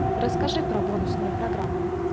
расскажи про бонусные программы